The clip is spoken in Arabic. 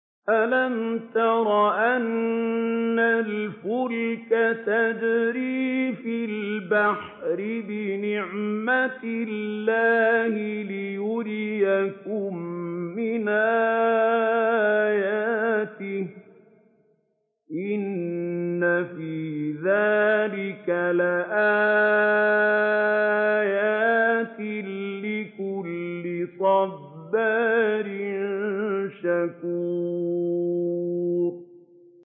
أَلَمْ تَرَ أَنَّ الْفُلْكَ تَجْرِي فِي الْبَحْرِ بِنِعْمَتِ اللَّهِ لِيُرِيَكُم مِّنْ آيَاتِهِ ۚ إِنَّ فِي ذَٰلِكَ لَآيَاتٍ لِّكُلِّ صَبَّارٍ شَكُورٍ